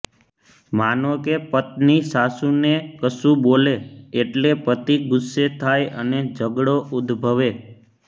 માનો કે પત્ની સાસુને કશું બોલે એટલે પતિ ગુસ્સે થાય અને ઝઘડો ઉદ્દભવે